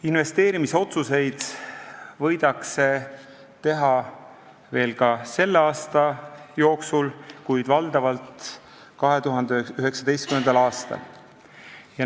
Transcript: Investeerimisotsuseid võidakse teha veel ka selle aasta jooksul, kuid valdavalt tehakse need 2019. aastal.